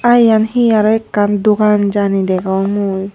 Aa iyan he aro ekkan dogan Jani degong mui.